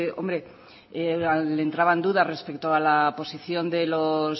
hombre le entraban dudas respecto a la posición de los